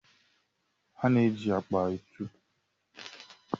A na-eji akpa atụ.